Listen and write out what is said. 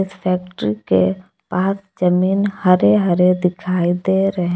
factory के पास जमीन हरे हरे दिखाई दे रहे--